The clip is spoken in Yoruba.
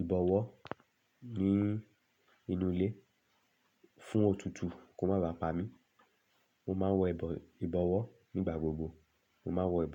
ìbọ̀wọ́ nínú ilé fún òtútù kó má ba pà mí, mo máa ń wọ ìbọ̀wọ́ nígbà gbogbo, mo máa ń wọ ìbọ̀wọ́